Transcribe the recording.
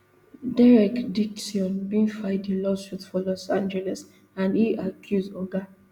derek dixon bin file di lawsuit for los angeles and e accuse oga